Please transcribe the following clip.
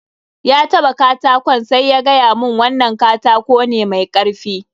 Ya taɓa katakon sai ya gaya mun wannan katako ne mai karfi.